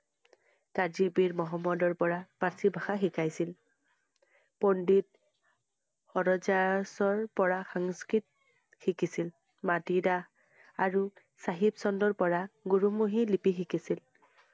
কাজী পিৰ মহম্মদৰ পৰা পাৰ্ছী ভাষা শিকাইছিল। পণ্ডিত হৰ~জা~সৰ পৰা সংস্কৃ~ত শিকিছিল । মাটি দাস আৰু চাহিব চন্দৰ পৰা গুৰুমুখি লিপি শিকিছিল